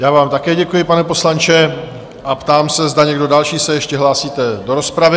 Já vám také děkuji, pane poslanče, a ptám se, zda někdo další se ještě hlásí do rozpravy?